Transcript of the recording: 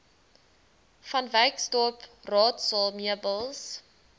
vanwyksdorp raadsaal meubels